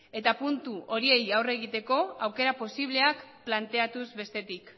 eta puntu horiei aurre egiteko aukera posibleak planteatuz bestetik